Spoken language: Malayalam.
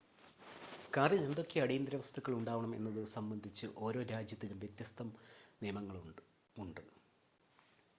കാറിൽ എന്തൊക്കെ അടിയന്തര വസ്തുക്കൾ ഉണ്ടാവണം എന്നത് സംബന്ധിച്ച് ഓരോ രാജ്യത്തിലും വ്യത്യസ്ത നിയമങ്ങളുമുണ്ട്